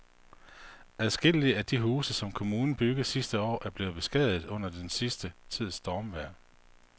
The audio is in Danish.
Adskillige af de huse, som kommunen byggede sidste år, er blevet beskadiget under den sidste tids stormvejr.